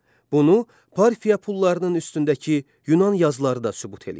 Bunu Parfiya pullarının üstündəki Yunan yazıları da sübut eləyir.